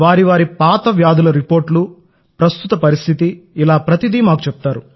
వారు వారి పాత వ్యాధుల రిపోర్ట్స్ ప్రస్తుత పరిస్థితి ఇలా ప్రతిదీ మాకు చెప్తారు